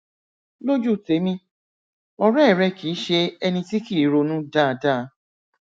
lójú tèmi ọrẹ rẹ kìí ṣe ẹni tí kìí ronú dáadáa